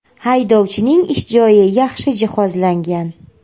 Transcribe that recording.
Haydovchining ish joyi yaxshi jihozlangan.